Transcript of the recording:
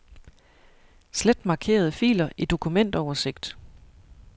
Slet markerede filer i dokumentoversigt.